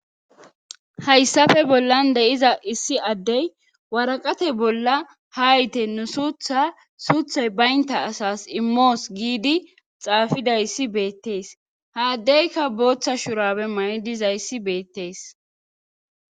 Hayssafe bollan de7iza issi addey waraqate bolla hayte nu suutha suuthay baynta asas immoos giidi xaafidayssi beettees haaddeyka booththa shurabe ma7i dizayssi beettees